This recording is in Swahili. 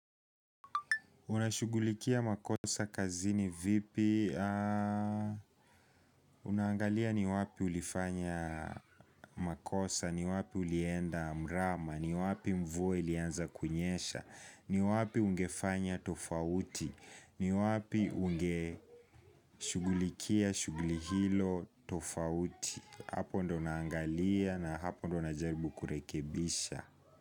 Una shughulikia makosa kazini vipi? Unaangalia ni wapi ulifanya makosa, ni wapi ulienda mrama, ni wapi mvua ilianza kunyesha, ni wapi ungefanya tofauti, ni wapi unge shugulikia, shugulihilo tofauti. Hapo ndio naangalia na hapo ndio najaribu kurekebisha.